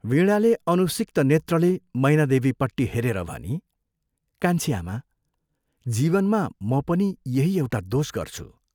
वीणाले अनुसिक्त नेत्रले मैनादेवीपट्टि हेरेर भनी, "कान्छी आमा, जीवनमा म पनि यही एउटा दोष गर्छु।